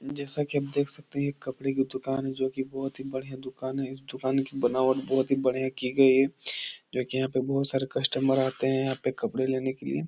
जैसा की आप देख सकते है। ये एक कपड़े की दुकान है। जो की बोहोत ही बढ़िया दुकान है। इस दुकान की बनावट बोहोत ही बढ़िया की गई है। देखिये यहां पे बोहोत सारे कस्टमर यहां पे कपड़े लेने के लिए।